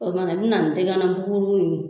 O kumana n bi na ni tɛgana buguru nn